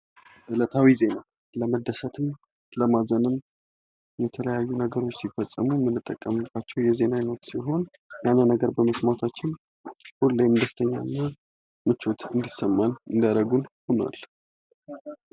እለታዊ ዜና ፦ ለመደሰትም ፣ ለማዘንም ፣ የተለያዩ ነገሮች ሲፈጠሩም እንጠቀማቸው የዜና አይነት ሲሆን ያን ነገር በመስማታችን ሁሌም ደስተኛ እና ምቾት እንዲሰማን የሚያደርጉ ሆኗል ።